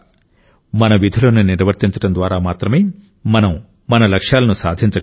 మన విధులను నిర్వర్తించడం ద్వారా మాత్రమే మనం మన లక్ష్యాలను సాధించగలం